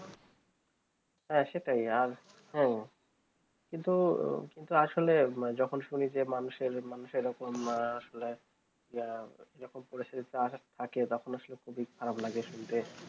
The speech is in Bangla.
হ্যাঁ সেটাই আর হ্যাঁ কিন্তু কিন্তু আসলে যখন শুনি মানুষের মানুষের এইরকম আসলে এইরকম করেছে তা সব ফাঁকে তখন আসলে খুবই খারাপ লাগে শুনতে